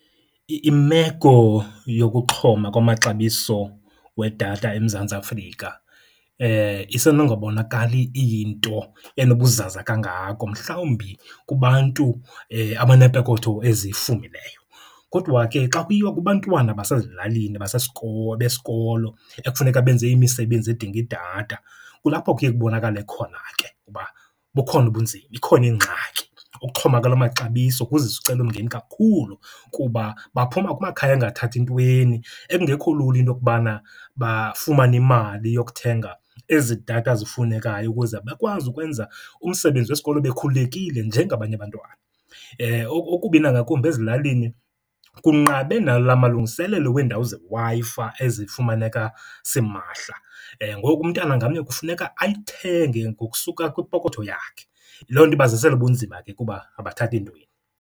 Imeko yokuxhoma kwamaxabiso wedatha eMzantsi Afrika isenongabonakali iyinto enobuzaza kangako mhlawumbi kubantu abaneepokotho ezifumileyo. Kodwa ke xa kuyiwa kubantwana basezilalini besikolo ekufuneka benze imisebenzi edinga idatha kulapho kuye kubonakale khona ke ukuba bukhona ubunzima, ikhona ingxaki. Ukuxhoma kwala maxabiso kuzisa umcelimngeni kakhulu kuba baphuma kumakhaya angathathi ntweni, ekungekho lula into yokubana bafumane imali yokuthenga ezi datha zifunekayo ukuze bakwazi ukwenza umsebenzi wesikolo bekhululekile njengabanye abantwana. Okubi nangakumbi, ezilalini kunqabe nala malungiselelo weendawo zeWi-Fi ezifumaneka simahla, ngoku umntana ngamnye kufuneka ayithenge ngokusuka kwipokotho yakhe. Loo nto ibazisela ubunzima ke kuba abathathi ntweni.